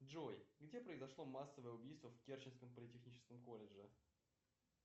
джой где произошло массовое убийство в керченском политехническом колледже